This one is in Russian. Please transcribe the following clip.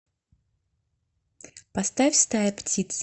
поставь стая птиц